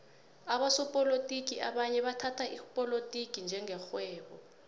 abosopolotiki abanye bathhatha ipolotiki njenge rhwebo